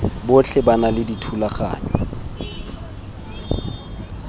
botlhe ba na le dithulaganyo